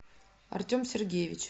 артем сергеевич